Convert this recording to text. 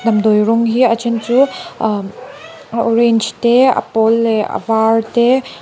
damdawi rawng hi a then chu ahh a orange te a pawl leh avar te--